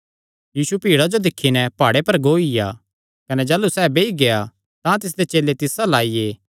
यीशु भीड़ा जो दिक्खी नैं प्हाड़े पर गोईया कने जाह़लू सैह़ बेई गेआ तां तिसदे चेले तिस अल्ल आईये